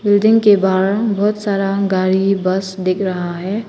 Building के बाहर बहुत सारा गाड़ी बस दिख रहा है।